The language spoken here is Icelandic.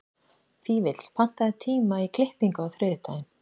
Fífill, pantaðu tíma í klippingu á þriðjudaginn.